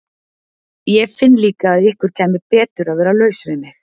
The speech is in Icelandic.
Ég finn líka að ykkur kæmi betur að vera laus við mig.